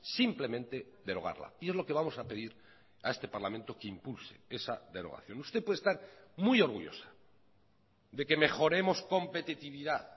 simplemente derogarla y es lo que vamos a pedir a este parlamento que impulse esa derogación usted puede estar muy orgullosa de que mejoremos competitividad